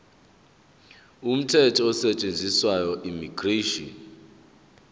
umthetho osetshenziswayo immigration